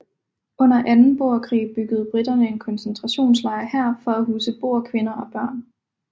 Under anden boerkrig byggede briterne en koncentrationslejr her for at huse boerkvinder og børn